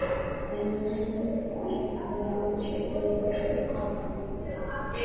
En nú þagði hann og beið eftir framhaldinu.